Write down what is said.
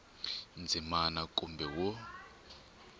ndzimana a kumbe b wo